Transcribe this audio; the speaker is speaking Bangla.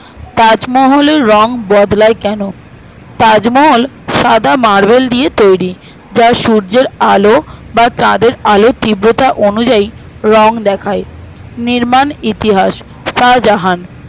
তাজমহলের রং বদলায় কেন তাজমহল সাদা marble দিয়ে তৈরী যার সূর্যের আলো বা তাদের আলোর তীব্রতা অনুযায়ী রং দেখায়ে নির্মাণ ইতিহাস শাহজাহান